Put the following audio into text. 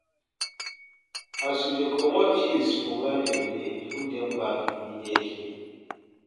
As you dey comot things for where dem dey, put dem back immediately